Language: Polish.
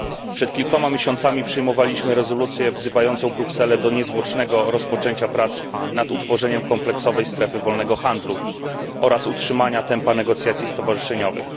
Przed kilkoma miesiącami przyjmowaliśmy rezolucję wzywającą Brukselę do niezwłocznego rozpoczęcia prac nad utworzeniem kompleksowej strefy wolnego handlu oraz utrzymania tempa negocjacji stowarzyszeniowych.